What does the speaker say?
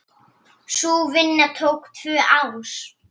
Sú vinna tók tvö ár.